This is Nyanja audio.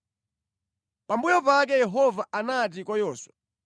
Pambuyo pake Yehova anati kwa Yoswa: